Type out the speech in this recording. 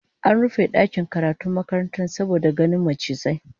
An rufe dakin karatun makarantar saboda ganin macizai